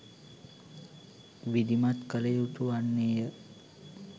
විධමත් කළ යුතු වන්නේය